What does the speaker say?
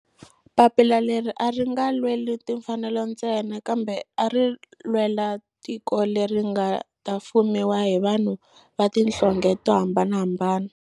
Papila leri a ri nga lweli timfanelo ntsena kambe ari lwela tiko leri nga ta fumiwa hi vanhu va tihlonge to hambanahambana.